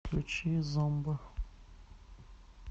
включи зомба